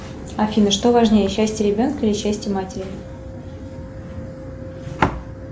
афина что важнее счастье ребенка или счастье матери